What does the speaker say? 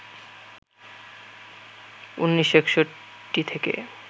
১৯৬১ থেকে